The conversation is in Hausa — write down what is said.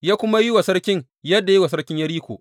Ya kuma yi wa sarkin yadda ya yi wa sarkin Yeriko.